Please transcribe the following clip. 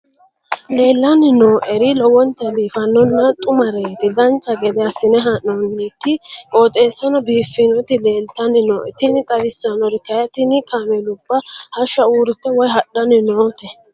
leellanni nooeri lowonta biiffinonna xumareeti dancha gede assine haa'noonniti qooxeessano biiffinoti leeltanni nooe tini xawissannori kayi tini kaameelubba hassha uurite woy hadhanni noote